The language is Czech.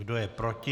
Kdo je proti?